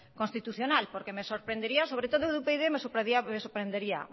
constitucional porque me sorprendería sobre todo de upyd me sorprendería